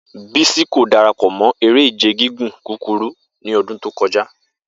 Bisi ko darapọ mọ ere-ije gigun kukuru ni ọdun to kọja.